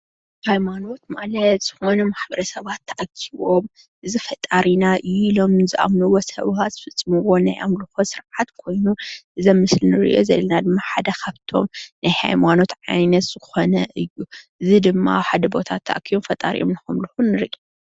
ሃይማኖት ማለት ዝኾኑ ማሕበረሰባት ተኣኪቦም እዚ ፈጣሪና እዩ ኢሎም ንዝኣምንዎ ሰበካ ዝፍፅምዎ ናይ ኣምልኾት ስርዓት ኮይኑ ፤እዚ ኣብ ምስሊ ንርእዮ ዘለና ሓደ ካብቶም ናይ ሃይማኖት ዓይነት ዝኾነ እዩ። እዚ ድማ ኣብ ሓደ ቦታ ተኣኪቦም ፈጣሪኦም ንኸምልኹ ንርኢ።